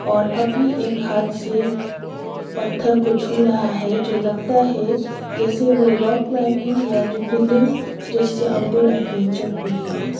और अपनी एक हाथ से पत्थर को छू रहा है जो लगता है जैसे वो रॉ क्लाईमिंग या रिबलिंग जिससे आउटडोर एडवेंचर्स पे है।